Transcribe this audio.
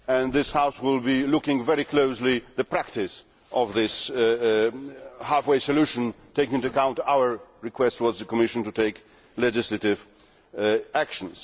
This House will be looking very closely at the practice of this half way solution, taking into account our request to the Commission to take legislative action.